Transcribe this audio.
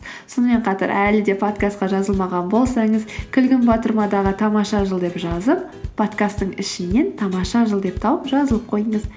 сонымен қатар әлі де подкастқа жазылмаған болсаңыз күлгін батырмадағы тамаша жыл деп жазып подкасттың ішінен тамаша жыл деп тауып жазылып қойыңыз